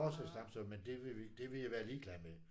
Vores har stamtavle men det vil vi det vil jeg være ligeglad med